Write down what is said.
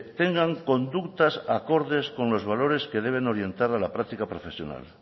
tengan conductas acordes con los valores que deben orientar a la práctica profesional